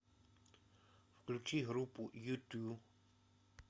включи группу юту